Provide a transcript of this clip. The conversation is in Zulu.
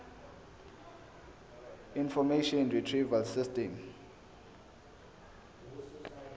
information retrieval system